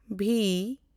ᱵᱷᱤ